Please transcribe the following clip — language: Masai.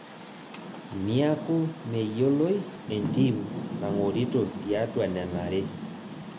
Niaku meyioloi Entim nangorito tiatua nena aare